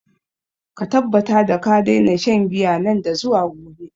Ka tabbata ka daina shan giya nan da zuwa gobe!